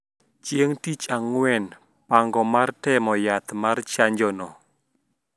Chieng` tich Ang`wen pango mar temo yath mar chanjo no